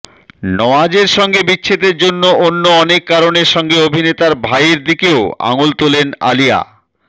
নওয়াজের সঙ্গে বিচ্ছেদের জন্য অন্য অনেক কারণের সঙ্গে অভিনেতার ভাইয়ের দিকেও আঙুল তোলেন আলিয়া